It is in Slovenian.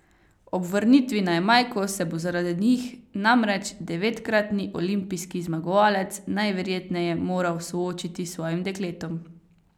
Ob vrnitvi na Jamajko se bo zaradi njih namreč devetkratni olimpijski zmagovalec najverjetneje moral soočiti s svojim dekletom.